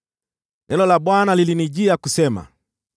Neno la Bwana lilinijia kusema,